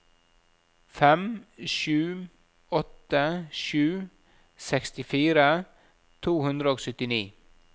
fem sju åtte sju sekstifire to hundre og syttini